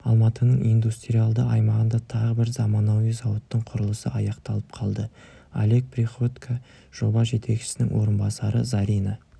алматының индустриалды аймағында тағы бір заманауи зауыттың құрылысы аяқталып қалды олег приходько жоба жетекшісінің орынбасары зарина